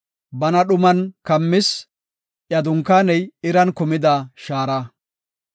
Bana dhuman kammis; iya dunkaaney iran kumida shaara.